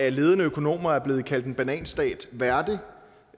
af ledende økonomer blevet kaldt en bananstat værdig